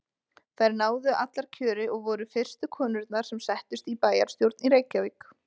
Þær náðu allar kjöri og voru fyrstu konurnar sem settust í bæjarstjórn í Reykjavík.